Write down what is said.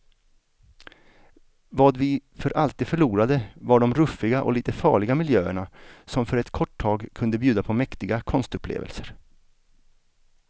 Vad vi för alltid förlorade var de ruffiga och lite farliga miljöerna som för ett kort tag kunde bjuda på mäktiga konstupplevelser.